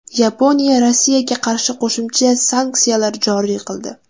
Yaponiya Rossiyaga qarshi qo‘shimcha sanksiyalar joriy qildi.